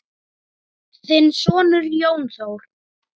Þinn sonur, Jón Þór.